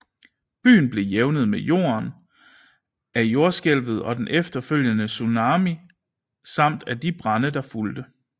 Byen blev jævnet med jorden af jordskælvet og den efterfølgende tsunami samt af de brande der fulgte